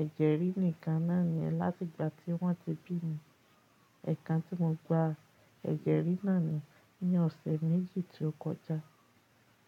ẹ̀jẹ̀ rí ni ìkan náà ni láti ìgbà tí wọ́n ti bí mi. Ẹ̀kan tí mo gba ẹ̀jẹ̀ rí náà ni ní ọ̀sẹ̀ méjì tí ó kọjá.